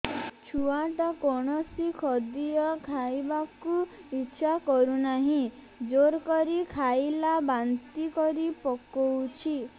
ଛୁଆ ଟା କୌଣସି ଖଦୀୟ ଖାଇବାକୁ ଈଛା କରୁନାହିଁ ଜୋର କରି ଖାଇଲା ବାନ୍ତି କରି ପକଉଛି